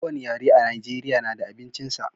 Ko wani yare a najeriya na da abincin sa